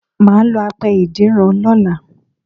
Mà á lo apẹ ìdínran lọ́la